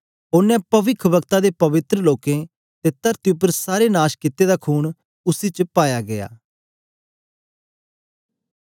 औने पविखवक्ता ते पवित्र लोकें ते तरती उपर सारे नाश कित्ते दा खून उसी च पाया गीया